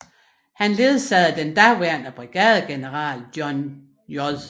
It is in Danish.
Han ledsagede den daværende brigadegeneral John J